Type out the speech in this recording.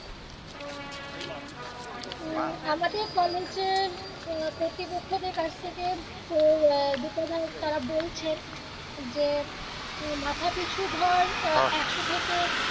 উম আমাদের কলেজের আহ প্রতিপক্ষদের কাছ থেকে তোর আহ বিশ হাজার তারা বলছেন যে মাথা পিছু ধর একশো থেকে